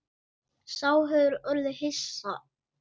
Sá hefur orðið hissa